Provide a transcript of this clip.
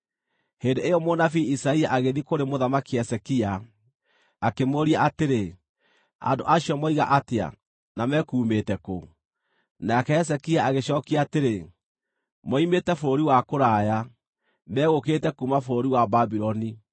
Hĩndĩ ĩyo mũnabii Isaia agĩthiĩ kũrĩ Mũthamaki Hezekia, akĩmũũria atĩrĩ, “Andũ acio moiga atĩa, na mekuumĩte kũ?” Nake Hezekia agĩcookia atĩrĩ, “Moimĩte bũrũri wa kũraya; megũkĩte kuuma bũrũri wa Babuloni.”